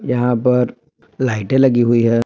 यहां पर लाइटे लगी हुई है।